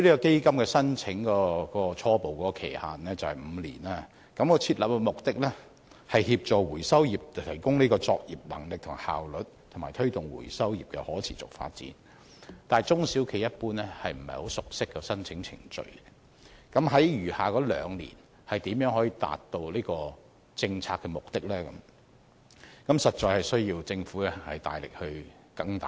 基金的初步申請期限為5年，而設立目的是協助回收業提高作業能力和效率，以及推動回收業的可持續發展，但中小企一般不熟悉申請程序，那麼在餘下兩年如何能夠達到此政策目的？政府實在需要更大力支援。